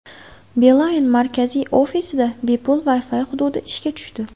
Beeline markaziy ofisida bepul Wi-Fi hududi ishga tushdi.